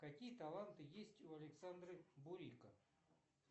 какие таланты есть у александра бурико